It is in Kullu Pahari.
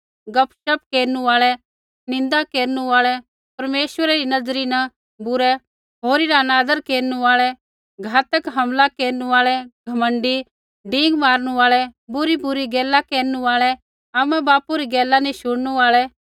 गपशप केरनु आल़ै निन्दा केरनु आल़ै परमेश्वरै री नज़री न बुरै होरी रा अनादर केरनु आल़ै घातक हमला केरनु आल़ै घमण्डी डिंगा मारणु आल़ै बुरीबुरी गैला रै केरनु आल़ै आमा बापू री गैला नी शुणनु आल़ै